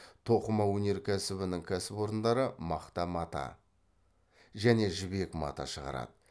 тоқыма өнеркәсібінің кәсіпорындары мақта мата және жібек мата шығарады